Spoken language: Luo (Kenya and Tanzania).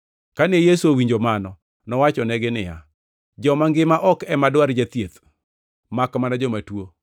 Kane Yesu owinjo mano, nowachonegi niya, “Joma ngima ok ema dwar jathieth makmana joma tuo.